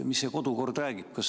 Mis see kodukord räägib?